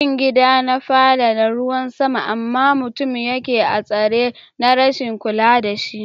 rufin gida na fada da ruwan sama, ama mutum da ke a'tsare na rashin kulla da shi.